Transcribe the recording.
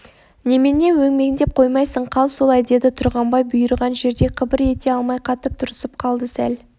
немене өңмендеп қоймайсың қал солай деді тұрғанбай бұйырған жерде қыбыр ете алмай қатып тұрысып қалды сәл